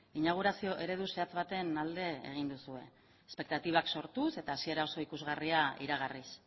inaugurazio eredu zehatz baten alde egin duzue espektatibak sortuz eta hasiera oso ikusgarria iragarriz